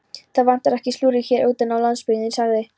Það vantar ekki slúðrið hér úti á landsbyggðinni sagði